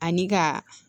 Ani ka